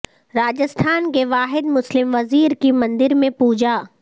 راجستھان کے واحد مسلم وزیر کی مندر میں پوجا